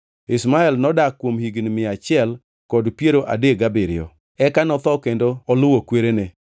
Ishmael nodak kuom higni mia achiel kod piero adek gabiriyo. Eka notho kendo oluwo kwerene.